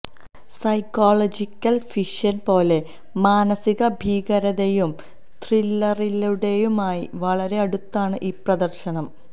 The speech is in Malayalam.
സൈക്കോളജിക്കൽ ഫിക്ഷൻ പോലെ മാനസിക ഭീകരതയും ത്രില്ലറിലുടേതുമായി വളരെ അടുത്താണ് ഈ പ്രദർശനം